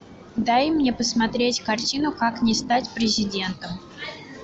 дай мне посмотреть картину как не стать президентом